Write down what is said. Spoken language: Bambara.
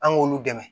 An k'olu dɛmɛ